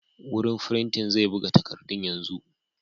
Wurin firinti zai buga takarduna yanzu.